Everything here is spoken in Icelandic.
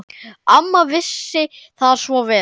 Amma vissi það svo vel.